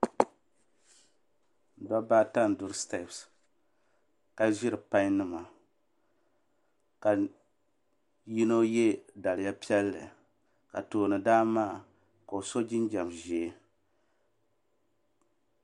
Dobba ata n duro sitepsi ka ʒiri payi nima ka yino ye daliya piɛll ka toondan maa ka o so jinjiɛm ʒee.